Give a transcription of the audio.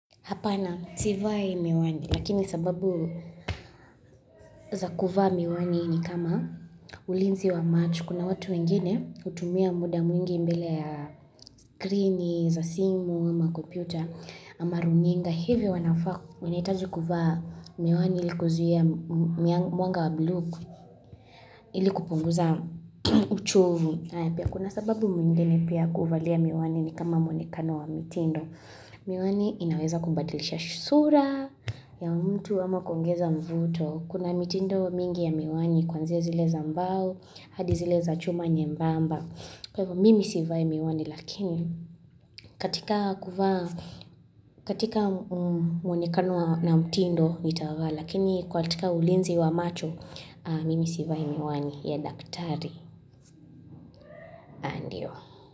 Hapana, sivai miwani. Lakini sababu za kuvaa miwani ni kama ulinzi wa macho Kuna watu wengine hutumia muda mwingi mbele ya skrini, za simu, ama kopyuta, ama runinga. Hivyo wanafaa wanahitaji kuvaa miwani ili kuzuia mwanga wa bluu ilikupunguza uchovu. Kuna sababu mwingine pia kuvalia miwani ni kama mwonekano wa mitindo. Miwani inaweza kubadilisha shusura ya mtu ama kuongeza mvuto Kuna mitindo mingi ya miwani kwanzia zile za mbao, hadi zile za chuma nyembamba Kwa hivyo mimi sivai miwani lakini katika kuvaa, katika mwonekano na mtindo nitavaa Lakini kwa katika ulinzi wa macho, mimi sivai miwani ya daktari.